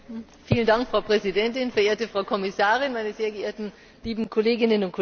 Frau Präsidentin, verehrte Frau Kommissarin, meine sehr geehrten, lieben Kolleginnen und Kollegen!